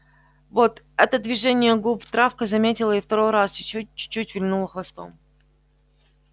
вот это движение губ травка заметила и второй раз чуть-чуть вильнула хвостом